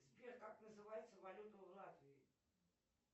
сбер как называется валюта в латвии